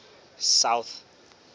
south